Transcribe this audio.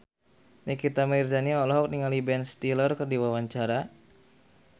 Nikita Mirzani olohok ningali Ben Stiller keur diwawancara